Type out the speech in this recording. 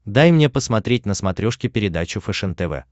дай мне посмотреть на смотрешке передачу фэшен тв